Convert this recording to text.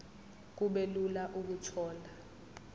kube lula ukuthola